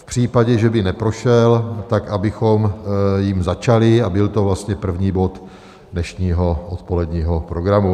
V případě, že by neprošel, tak abychom jím začali, a byl to vlastně první bod dnešního odpoledního programu.